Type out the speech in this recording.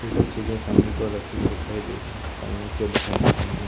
कई सारी चीजें सामने की ओर रखी हुई दिखाई दे सामने की ओर दिखाई दे रही हैं।